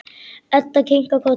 Edda kinkar kolli.